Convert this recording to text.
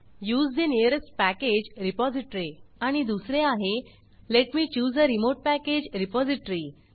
use the nearest package repository आणि दुसरे आहे let me choose a remote package repository